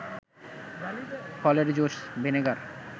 ফলের juice, vinegar